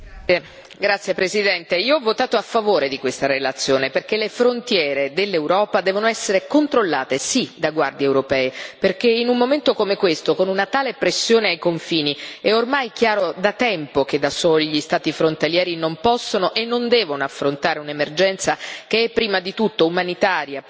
Signora Presidente, onorevoli colleghi, io ho votato a favore di questa relazione, perché le frontiere dell'Europa devono essere controllate, sì, da guardie europee perché in un momento come questo, con una tale pressione ai confini, è ormai chiaro da tempo che da soli gli Stati frontalieri non possono e non devono affrontare un'emergenza, che è prima di tutto umanitaria, poi sociale, economica, politica.